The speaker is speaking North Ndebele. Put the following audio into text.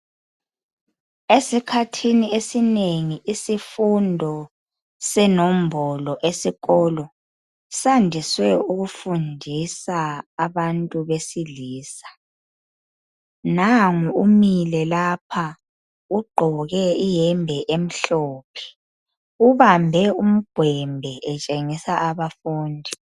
esikhathi esinengi isifundo senombolo esikolo sandiswe ukufundisa ngabantu besilisa nangu umile lapha ugqoke iyebe emhlophe ubambe umgwembe etshengisa abafundi